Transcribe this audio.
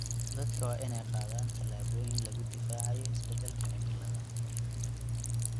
Dadka waa in ay qaadaan tallaabooyin lagu difaacayo isbedelka cimilada.